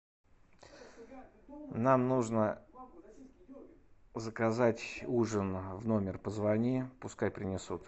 нам нужно заказать ужин в номер позвони пускай принесут